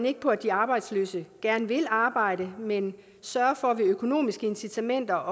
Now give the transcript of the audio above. ikke på at de arbejdsløse gerne vil arbejde man sørger for via økonomiske incitamenter